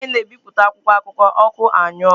Mgbe anyị na-ebipụta akwụkwọ akụkọ, ọkụ anyuo.